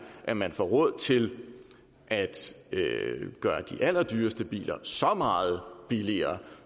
at man får råd til at gøre de allerdyreste biler så meget billigere